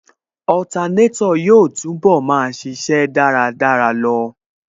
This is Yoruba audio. Otanétò yóò túnbọ̀ máa ṣíṣe dáradára lọ